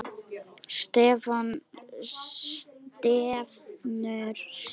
Stefnur sjóða